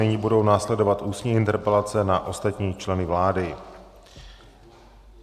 Nyní budou následovat ústní interpelace na ostatní členy vlády.